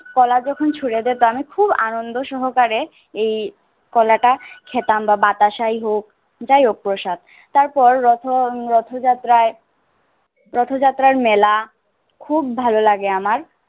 কলা যখন ছুঁড়ে দেয় তো আমি খুব আনন্দ সহকারে এই কলাটা খেতাম বা বাতাসাই হোক যাই হোক প্রসাদ। তারপর রথ~ উম রথযাত্রায় রথযাত্রার মেলা খুব ভালো লাগে আমার।